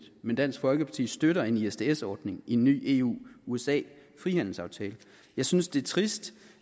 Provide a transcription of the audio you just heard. men dansk folkeparti støtter en isds ordning i en ny eu usa frihandelsaftale jeg synes det er trist